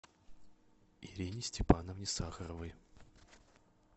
ирине степановне сахаровой